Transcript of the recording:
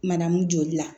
Manamu joli la